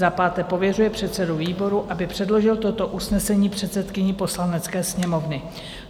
Za páté pověřuje předsedu výboru, aby předložil toto usnesení předsedkyni Poslanecké sněmovny.